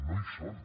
no hi són